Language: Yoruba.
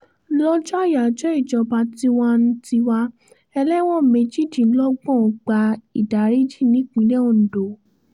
lọ́jọ́ ayájọ ìjọba tiwa-n-tiwa ẹlẹ́wọ̀n méjìdínlọ́gbọ̀n gba ìdáríjì nípìnlẹ̀ ondo